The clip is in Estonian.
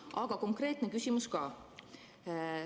Aga konkreetne küsimus ka.